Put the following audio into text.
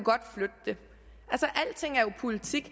flytte det alting er jo politik